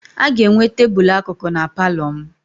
A ga-enwe tebụlụ akụkụ na palọ m.